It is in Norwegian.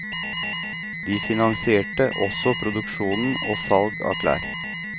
De finansierte også produksjon og salg av klær.